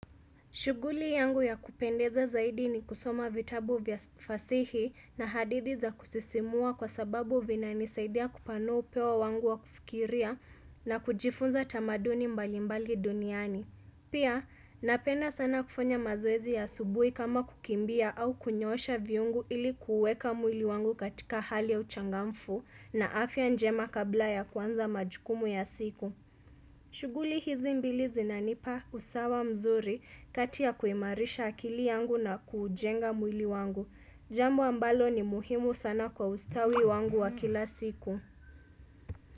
Shughuli yangu ya kupendeza zaidi ni kusoma vitabu vya fasihi na hadithi za kusisimua kwa sababu vina nisaidia kupano upeo wangu wa kufikiria na kujifunza tamaduni mbalimbali duniani. Pia, napenda sana kufanya mazoezi ya asubuhi kama kukimbia au kunyoosha viungo ili kuweka mwili wangu katika hali ya uchangamfu na afya njema kabla ya kwanza majukumu ya siku. Shughuli hizi mbili zinanipa usawa mzuri kati kuimarisha akili yangu na kujenga mwili wangu. Jambo ambalo ni muhimu sana kwa ustawi wangu wa kila siku.